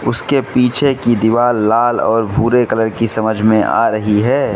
उसके पीछे की दीवाल लाल और भूरे कलर की समझ में आ रही है।